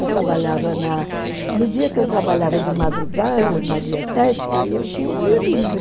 Eu trabalhava na... No dia que eu trabalhava de madrugada, na dietética, aí eu tinha o dia livre.